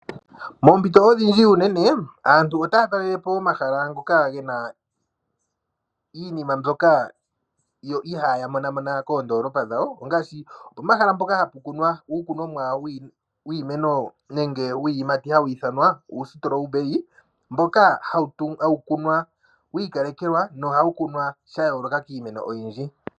Poompito odhindji unene aantu otaa telele po omahala ngoka ge na iinima ihaa monamona moondoolopa dhawo. Ngaashi pomahala mpoka hapu kunwa uuyimati hawu ithanwa uustrawberry mboka hau kunwa wi ikalekelwa nohawu kunwa sha yooloka kiimeno oyindji.